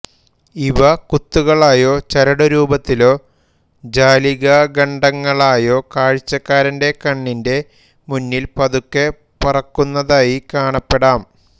ഇവ കുത്തുകളായോ ചരടു രൂപത്തിലോ ജാലികാഖണ്ഡങ്ങളായോ കാഴ്ചക്കാരന്റെ കണ്ണിന്റെ മുന്നിൽ പതുക്കെ പറക്കുന്നതായി കാണപ്പെടാം